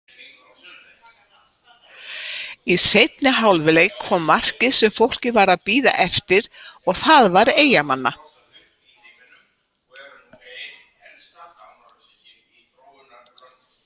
Í seinni hálfleik kom markið sem fólkið var að bíða eftir og það var Eyjamanna.